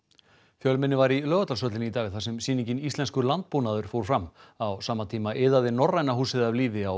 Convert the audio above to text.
fjölmenni var í Laugardalshöllinni í dag þar sem sýningin Íslenskur landbúnaður fór fram á sama tíma iðaði Norræna húsið af lífi á